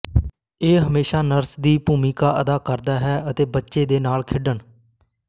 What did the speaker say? ਇਹ ਹਮੇਸ਼ਾ ਨਰਸ ਦੀ ਭੂਮਿਕਾ ਅਦਾ ਕਰਦਾ ਹੈ ਅਤੇ ਬੱਚੇ ਦੇ ਨਾਲ ਖੇਡਣ